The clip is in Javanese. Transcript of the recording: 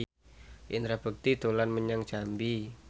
Indra Bekti dolan menyang Jambi